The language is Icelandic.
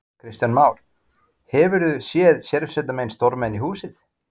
Kristján Már: Hefurðu séð sérsveitarmenn storma inn í húsið?